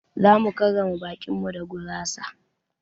Zamu karrama baƙin mu da gurasa.